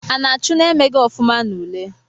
A na-achụ na-emeghi ofuma n'ule?